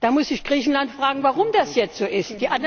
Da muss sich Griechenland fragen, warum das jetzt so ist.